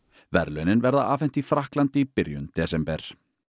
verðlaunin verða afhent í Frakklandi í byrjun desember